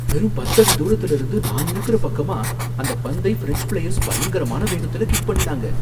வெறும் பத்தடி தூரத்துல இருந்து நான் இருக்குற பக்கமா அந்த பந்தை ஃபிரெஞ்ச் பிளேயர்ஸ் பயங்கரமான வேகத்துல கிக் பண்ணினாங்க